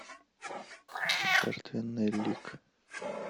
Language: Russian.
жертвенный лик